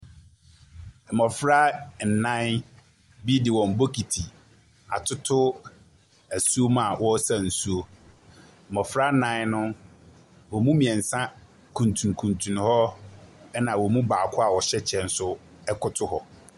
Mmɔfra ɛnan bi de wɔn bokiti atoto asu mu a ɔresa nsuo. Mmɔfra nan no, wɔn mu mmiɛnsa kuturukunturu hɔ ɛna wɔn mu baako a ɔhyɛ kyɛ nso ɛkoto hɔ.